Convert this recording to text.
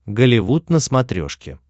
голливуд на смотрешке